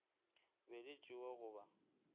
be di tšewa go ba